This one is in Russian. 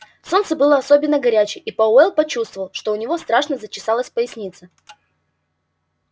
солнце было особенно горячее и пауэлл почувствовал что у него страшно зачесалась поясница